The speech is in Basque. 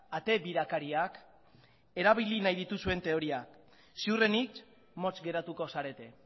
ate birakariak erabili nahi dituzuen teoriak ziurrenik motz geratuko zarete